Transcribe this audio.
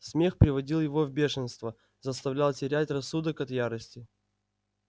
смех приводил его в бешенство заставлял терять рассудок от ярости